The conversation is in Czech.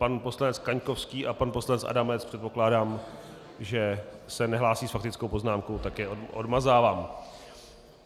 Pan poslanec Kaňkovský a pan poslanec Adamec, předpokládám, že se nehlásí s faktickou poznámkou, tak je odmazávám.